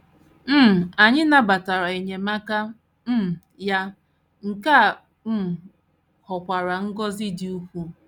um Anyị nabatara enyemaka um ya, nke a um ghọkwara ngọzi dị ukwuu.